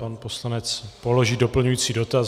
Pan poslanec položí doplňující dotaz.